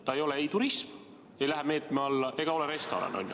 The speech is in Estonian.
See ei ole turism, see ei lähe selle meetme alla, ega ole ka restoran.